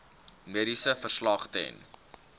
mediese verslag ten